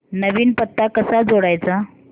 नवीन पत्ता कसा जोडायचा